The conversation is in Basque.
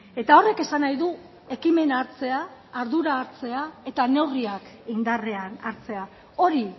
eta horrek esan nahi du ekimena hartzea ardura hartzea eta neurriak indarrean hartzea hori